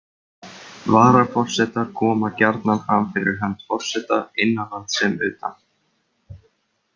Varaforsetar koma gjarnan fram fyrir hönd forseta innanlands sem utan.